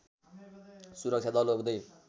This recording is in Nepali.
सुरक्षा दल हुँदै